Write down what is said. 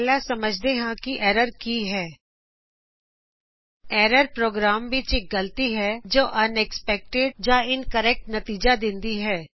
ਪਹਿਲਾ ਸਮਝਦੇ ਹਾਂ ਕਿ ਐਰਰ ਕੀ ਹੈ ਐਰਰ ਪ੍ਰੋਗਰਾਮ ਵਿੱਚ ਇਕ ਗਲਤੀ ਹੈਜੋ ਇਨਕਰੈਕਟ ਜਾunexpected ਨਤਿਜਾ ਦਿੰਦੀ ਹੈ